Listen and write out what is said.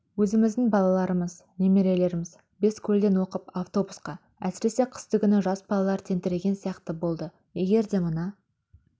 өзіміздің балаларымыз немерелеріміз бескөлден оқып автобусқа әсіресе қыстыгүні жас балалар тентіреген сияқты болды егер де мына